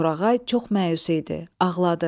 Torağay çox məyus idi, ağladı.